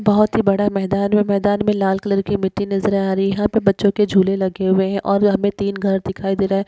बहुतही बड़ा मैदान है मैदान मे लाल कलर के मिट्ठी नज़र आ रही यहा पे बच्चों के झूल लगे हुए है और यहा पे तीन घर दिखाई दे रहा है।